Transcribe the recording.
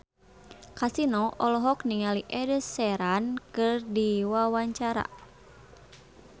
Kasino olohok ningali Ed Sheeran keur diwawancara